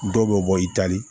Dɔw bɛ bɔ i tali